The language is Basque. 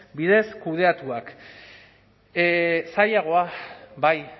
bidez kudeatuak zailagoa bai